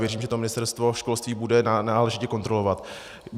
Věřím, že to Ministerstvo školství bude náležitě kontrolovat.